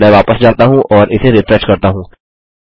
मैं वापस जाता हूँ और इसे रिफ्रेश करता हूँ